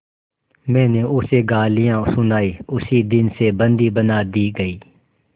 मैंने उसे गालियाँ सुनाई उसी दिन से बंदी बना दी गई